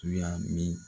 Tuya min